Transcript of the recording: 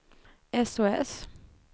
sos